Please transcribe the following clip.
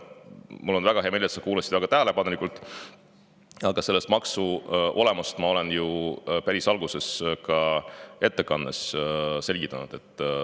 Mul on väga hea meel, et sa kuulasid tähelepanelikult, aga selle maksu olemust ma ju päris ettekande alguses ka selgitasin.